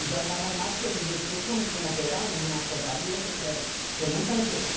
E já andava armado, porque ele mexia com com operários em uma serraria, sei que é, que é muita gente.